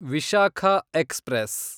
Vishakha express